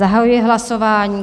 Zahajuji hlasování.